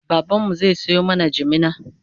baban mu zai Sayo mana jimina